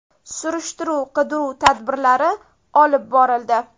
Surishtiruv-qidiruv tadbirlari olib borildi.